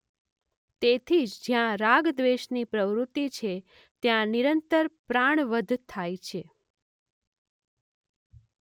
તેથી જ જ્યાં રાગદ્વેષ ની પ્રવૃત્તિ છે ત્યાં નિરંતર પ્રાણવધ થાય છે.